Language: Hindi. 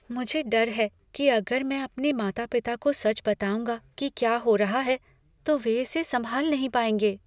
मुझे डर है कि अगर मैं अपने माता पिता को सच बताऊंगा कि क्या हो रहा है, तो वे इसे संभाल नहीं पाएंगे।